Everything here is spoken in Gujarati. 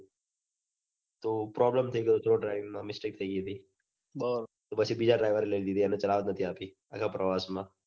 તો problem થઇ ગયો હતો driving માં mistake થઇ ગઈ હતી પછી બીજા driver ને લઇ લીધો ત્યાંથી એના પ્રવાસમાં